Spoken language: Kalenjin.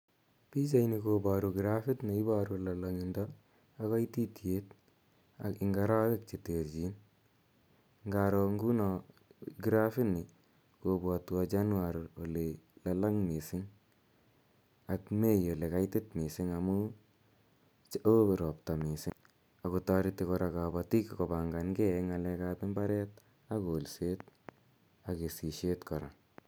Pichani koparu grafit ne iparu lalang'indo ak kaititiet ak eng' arawek che terchin. Ngaro nguno grafini kopwatwa januar ole lalang' missing' ak mei ole kaitit missing' amu oo ropta missing' ako tareti kora kapatik kopangan ge eng' ng'alek ap mbar ak kolset ak kesishet kora.